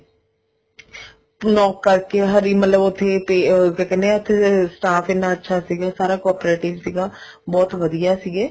knock ਕਰਕੇ ਹਰ ਇੱਕ ਮਤਲਬ ਉਥੇ ਕਿਆ ਕਹਿਨੇ ਆ ਅਮ staff ਇੰਨਾ ਅੱਛਾ ਸੀਗਾ cooperative ਬਹੁਤ ਵਧੀਆ ਸੀਗੇ